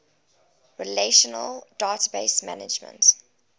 relational database management